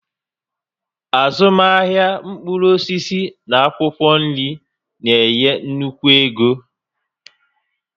Azụmahịa mkpụrụ osisi na akwụkwọ nri na-enye nnukwu ego